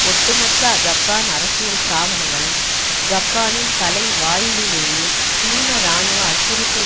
ஒட்டுமொத்த ஜப்பான் அரசியல் ஸ்தாபனங்களும் ஜப்பானின் தலைவாயிலிலேயே சீன இராணுவ அச்சுறுத்தல்